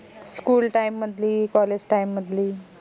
schooltime मधली college time मधली